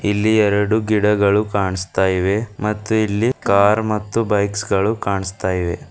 ಇಲ್ಲಿ ಎರಡು ಗಿಡಗಳು ಕಾಣಸ್ತಾ ಇವೆ ಮತ್ತು ಇಲ್ಲಿ ಕಾರ್ ಮತ್ತು ಬೈಕ್ಸ್ ಗಳು ಕಾಣಸ್ತಾ ಇವೆ.